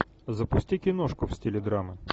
запусти киношку в стиле драмы